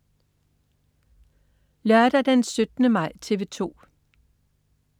Lørdag den 17. maj - TV 2: